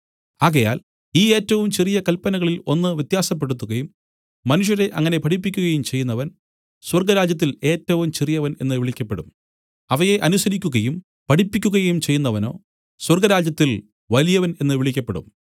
ആകയാൽ ഈ ഏറ്റവും ചെറിയ കല്പനകളിൽ ഒന്ന് വ്യത്യാസപ്പെടുത്തുകയും മനുഷ്യരെ അങ്ങനെ പഠിപ്പിക്കയും ചെയ്യുന്നവൻ സ്വർഗ്ഗരാജ്യത്തിൽ ഏറ്റവും ചെറിയവൻ എന്നു വിളിക്കപ്പെടും അവയെ അനുസരിക്കുകയും പഠിപ്പിക്കയും ചെയ്യുന്നവനോ സ്വർഗ്ഗരാജ്യത്തിൽ വലിയവൻ എന്നു വിളിക്കപ്പെടും